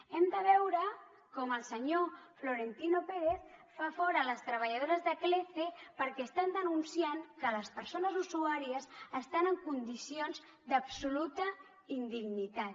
hem de veure com el senyor florentino pérez fa fora les treballadores de clece perquè estan denunciant que les persones usuàries estan en condicions d’absoluta indignitat